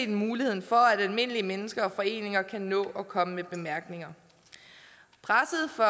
muligheden for at almindelige mennesker og foreninger kan nå at komme med bemærkninger presset for